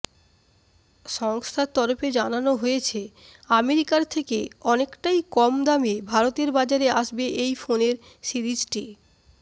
সংস্থার তরফে জানানো হয়েছে আমেরিকার থেকে অনেকটাই কম দামে ভারতের বাজারে আসবে এই ফোনের সিরিজটি